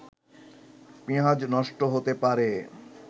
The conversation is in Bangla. পিঁয়াজ নষ্ট হতে পারে